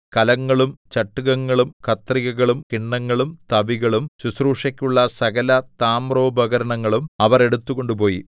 കലങ്ങളും ചട്ടുകങ്ങളും കത്രികകളും കിണ്ണങ്ങളും തവികളും ശുശ്രൂഷയ്ക്കുള്ള സകല താമ്രോപകരണങ്ങളും അവർ എടുത്തുകൊണ്ടുപോയി